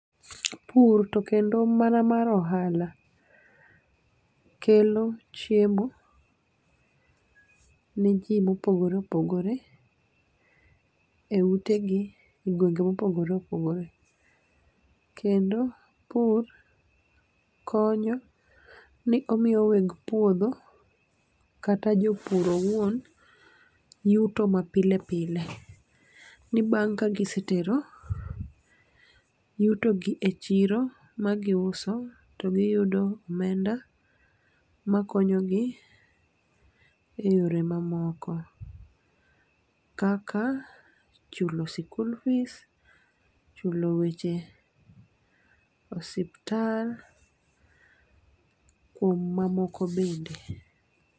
Pur to kendo mana mar ohala kelo chiemo, ne ji mopogore opogore e ute gi e gwenge mopogore opogore. Kendo pur konyo ni omiyo weg puodho kata jopur owuon yuto ma pile pile. Ni mar ka gisetero yutogi e chiro ma giuso, to giyudo omenda makonyogi e yore ma moko. Kaka chulu sikul fees, chulo weche osiptal, kuom mamoko bende.